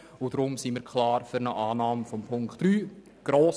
Deshalb sind wir grossmehrheitlich klar für die Annahme von Punkt 3.